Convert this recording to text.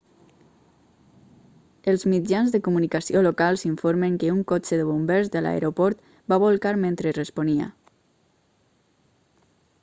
els mitjans de comunicació locals informen que un cotxe de bombers de l'aeroport va bolcar mentre responia